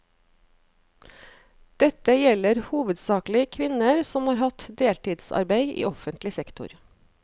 Dette gjelder hovedsakelig kvinner som har hatt deltidsarbeid i offentlig sektor.